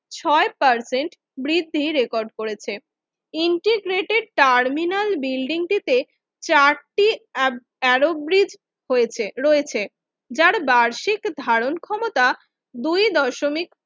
ছয় পার্সেন্ট বৃদ্ধি রেকর্ড করেছে ইন্টিগ্রেটেড টার্মিনাল বিল্ডিংটিতে চারটি অ্যারো গ্রিব হয়েছে রয়েছে যার বার্ষিক ধারণক্ষমতা দুই দশমিক